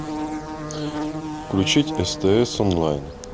включить стс онлайн